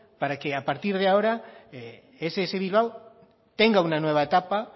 para que a partir de ahora ess bilbao tenga una nueva etapa